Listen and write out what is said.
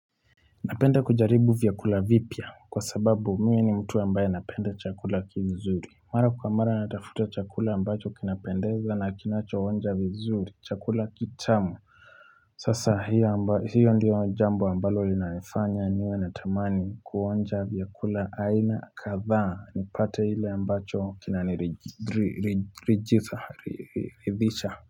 Napenda kujaribu vyakula vipya kwa sababu mimi ni mtu ambaye napenda chakula kizuri Mara kwa mara natafuta chakula ambacho kinapendeza na kinacho onja vizuri chakula kitamu Sasa hiyo ndiyo jambo ambalo linanifanya niwe natamani kuonja vyakula aina kadhaa nipate ile ambacho kinanirijidhisha.